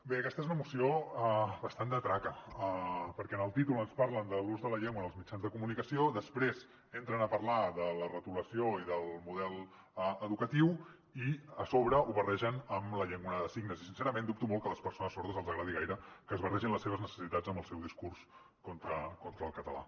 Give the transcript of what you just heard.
bé aquesta és una moció bastant de traca perquè en el títol ens parlen de l’ús de la llengua en els mitjans de comunicació després entren a parlar de la retolació i del model educatiu i a sobre ho barregen amb la llengua de signes i sincerament dubto molt que a les persones sordes els agradi gaire que es barregin les seves necessitats amb el seu discurs contra el català